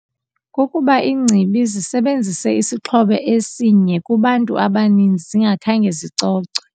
Kukuba iingcibi zisebenzise isixhobo esinye kubantu abaninzi zingakhange zicocwe.